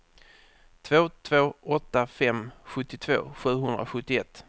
tre två åtta fem sjuttiotvå sjuhundrasjuttioett